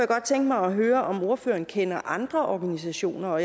godt tænke mig at høre om ordføreren kender andre organisationer